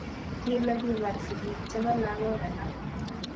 Kile kibar sikik chepo lagook alak.